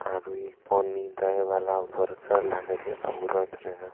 आरु ई पानी दै वाला भुरकर लागे छे औरत रहै।